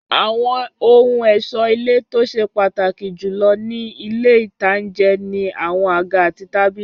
Àwọn ohun ẹ̀ṣọ́ ilé tó ṣe pàtàkì jù ní ilé-ìtánjẹ ni àwọn àga àti tábìlì